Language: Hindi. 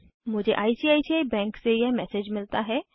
मुझे आईसीआईसीआई बैंक से यह मैसेज मिलता है